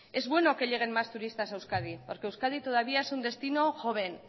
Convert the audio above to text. es bueno que lleguen más turistas a euskadi porque euskadi todavía es un destino joven